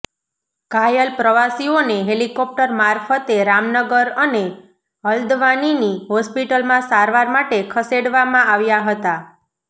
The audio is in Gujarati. ઘાયલ પ્રવાસીઓને હેલીકોપ્ટર મારફતે રામનગર અને હલ્દવાનીની હોસ્પિટલમાં સારવાર માટે ખસેડવામાં આવ્યા હતા